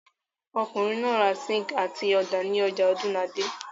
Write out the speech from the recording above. Ọkùnrin náà ra síńkì àti ọ̀dà ní ọjà Ọ̀dúnadé.